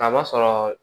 Kaba sɔrɔ